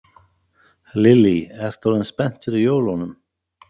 Lillý: Ertu orðin spennt fyrir jólunum?